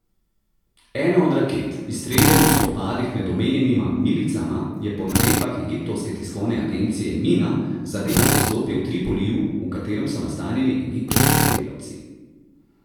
Ena od raket, izstreljena v spopadih med omenjenima milicama, je po navedbah egiptovske tiskovne agencije Mina zadela poslopje v Tripoliju, v katerem so nastanjeni egiptovski delavci.